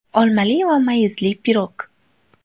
Olmali va mayizli pirog.